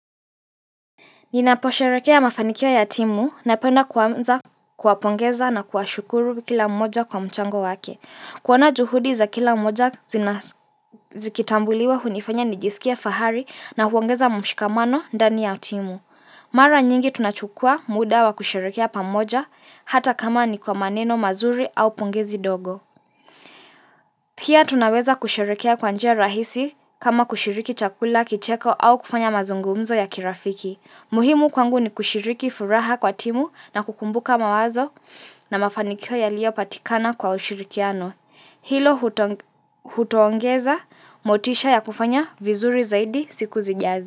Ninaposherekea mafanikio ya timu napenda kuanza kuwa pongeza na kuwa shukuru kila mmoja kwa mchango wake. Kuona juhudi za kila mmoja zikitambuliwa hunifanya nijisikia fahari na huongeza mmshikamano ndani ya timu. Mara nyingi tunachukua muda wa kusherekea pamoja hata kama ni kwa maneno mazuri au pongezi dogo. Pia tunaweza kusherekea kwa njia rahisi kama kushiriki chakula kicheko au kufanya mazungumzo ya kirafiki. Muhimu kwangu ni kushiriki furaha kwa timu na kukumbuka mawazo na mafanikio yalio patikana kwa ushirikiano. Hilo hutoongeza motisha ya kufanya vizuri zaidi siku zijazi.